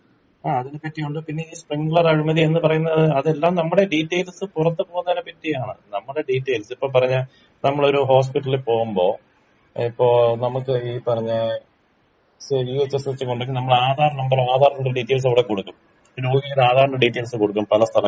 ആ അതിനെ പറ്റിയുണ്ട് പിന്നെ ഈ സ്പ്രിങ്ളർ അഴിമതി എന്ന് പറയുന്നത് അതെല്ലാം നമ്മുടെ ഡീറ്റെയിൽസ് പുറത്ത് പോവുന്നതിനെ പറ്റിയാണ് നമ്മടെ ഡീറ്റെയിൽസ് ഇപ്പൊ പറഞ്ഞ നമ്മളൊരു ഹോസ്പിറ്റലിൽ പോവുമ്പം ഇപ്പോ നമുക്ക് ഈ പറഞ്ഞ നോട്ട്‌ ക്ലിയർ നമ്മളെ ആധാർ നമ്പറ് ആധാറിന്റെ ഡീറ്റെയിൽസും അവിടെ കൊടുക്കും ഈ ആധാറിന്റെ ഡീറ്റെയിൽസ് കൊടുക്കും പല സ്ഥലങ്ങളിലും.